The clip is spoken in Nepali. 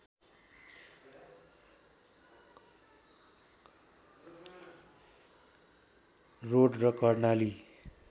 रोड र कर्णाली